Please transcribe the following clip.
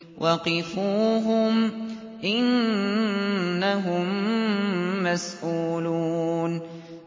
وَقِفُوهُمْ ۖ إِنَّهُم مَّسْئُولُونَ